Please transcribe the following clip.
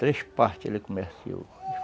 Três partes ele comerciou.